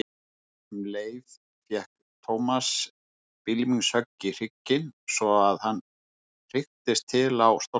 Um leið fékk Thomas bylmingshögg í hrygginn svo að hann heyktist til á stólnum.